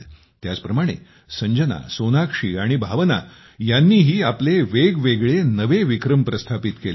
याचप्रमाणे संजना सोनाक्षी आणि भावना यांनीही आपले वेगवेगळे नवे विक्रम प्रस्थापित केले आहेत